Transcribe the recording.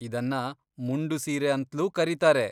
ಇದನ್ನ ಮುಂಡು ಸೀರೆ ಅಂತ್ಲೂ ಕರೀತಾರೆ.